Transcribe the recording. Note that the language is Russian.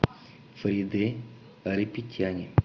фариде айрапетяне